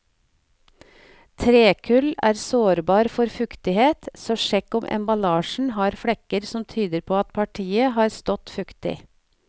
Trekull er sårbar for fuktighet, så sjekk om emballasjen har flekker som tyder på at partiet har stått fuktig.